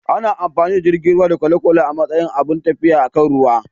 Ana amfani da jiragen ruwa da kwale-kwale a matsayin abun tafiya akan ruwa.